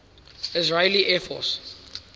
israeli air force